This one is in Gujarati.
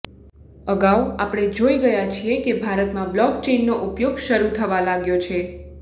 અગાઉ આપણે જોઈ ગયા છીએ કે ભારતમાં બ્લોકચેઇનનો ઉપયોગ શરૂ થવા લાગ્યો છે